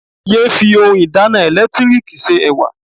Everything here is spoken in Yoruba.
Yéé fi oun ìdáná ẹ̀lẹ́tíríkì se Ẹ̀wà.